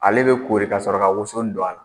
Ale bɛ koɔriri ka sɔrɔ ka woso don a la.